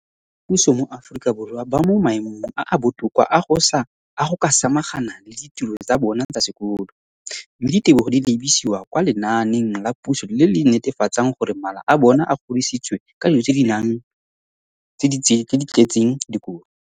dikolo tsa puso mo Aforika Borwa ba mo maemong a a botoka a go ka samagana le ditiro tsa bona tsa sekolo, mme ditebogo di lebisiwa kwa lenaaneng la puso le le netefatsang gore mala a bona a kgorisitswe ka dijo tse di tletseng dikotla.